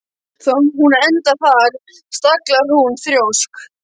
Hún endaði þar, staglar hún þrjósk.